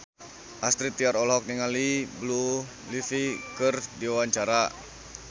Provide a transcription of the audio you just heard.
Astrid Tiar olohok ningali Blue Ivy keur diwawancara